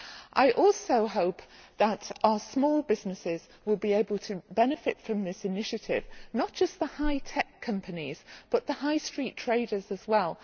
I also hope that our small businesses will be able to benefit from this initiative, not just the high tech companies but the high street traders as well.